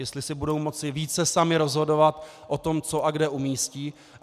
Jestli si budou moci více samy rozhodovat o tom, co a kde umístí.